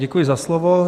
Děkuji za slovo.